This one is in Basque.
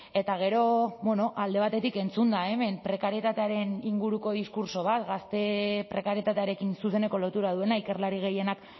eta gero alde batetik entzunda hemen prekarietatearen inguruko diskurtso bat gazte prekarietatearekin zuzeneko lotura duena ikerlari gehienak